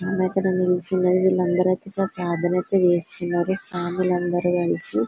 అందరూ ఇక్కడ నిలుచున్నారు వీళ్ళందరూ అయితే ఇక్కడ ప్రార్థన చేయిస్తున్నారు స్వాములు అందరూ కలిసి--